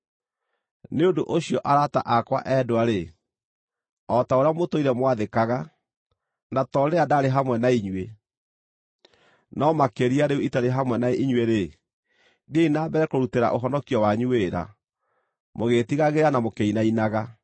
Nĩ ũndũ ũcio, arata akwa endwa-rĩ, o ta ũrĩa mũtũire mwathĩkaga, na to rĩrĩa ndaarĩ hamwe na inyuĩ, no makĩria rĩu itarĩ hamwe na inyuĩ-rĩ, thiĩi na mbere kũrutĩra ũhonokio wanyu wĩra, mũgĩĩtigagĩra na mũkĩinainaga,